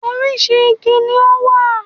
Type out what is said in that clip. Orísìí igi ni ó wà